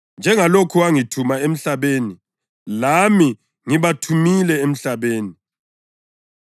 Njengalokhu wangithuma emhlabeni, lami ngibathumile emhlabeni.